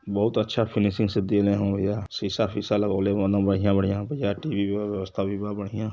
बहुत अच्छा फिनिशिंग से देले हवन भैया शीशा फिसा लगवले बाड़न बढ़िया बढ़िया। टीवी के व्यवस्था भी बा बढ़िया।